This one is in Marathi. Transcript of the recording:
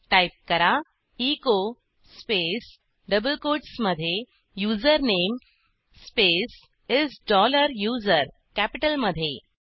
टाईप करा एचो स्पेस डबल कोटस मधे username space is dollar user कॅपिटलमधे